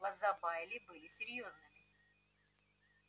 глаза байли были серьёзными